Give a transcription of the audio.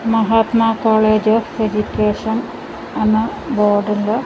Mahatma college of education എന്ന board ഉണ്ട്.